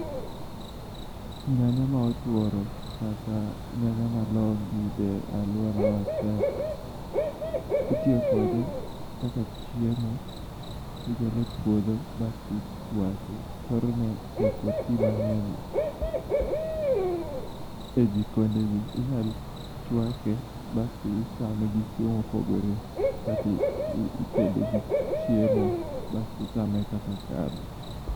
Nyanya ma otworo kata nyanya ma long' yude e lworawa tek. Itiyo kode kaka chiemo. Igole e puodho basti ichwake thorone to ok oti mang'eny e jikonde ji. Inyal chwake basti ichame gi chiemo mopogore kata itede gi chiemo basti ichame kaka kado.